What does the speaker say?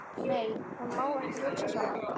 Nei, hún má ekki hugsa svona.